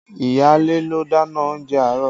Iyaale ló dáná oúnjẹ àárọ̀